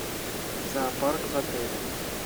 зоопарк в отеле